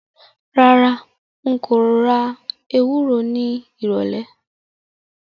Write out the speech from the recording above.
Rárá, n kò ra ewúro nírọ̀lẹ̀